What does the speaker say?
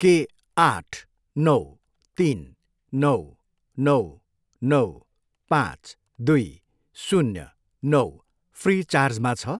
के आठ, नौ, तिन, नौ, नौ, नौ, पाँच, दुई, शून्य, नौ फ्रिचार्जमा छ?